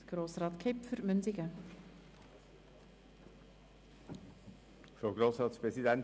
wir lehnen den Punkt 2 deshalb als Motion ab.